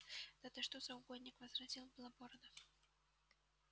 да ты что за угодник возразил белобородов